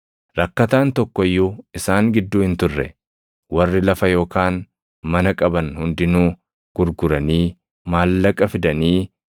Rakkataan tokko iyyuu isaan gidduu hin turre. Warri lafa yookaan mana qaban hundinuu gurguranii maallaqa fidanii,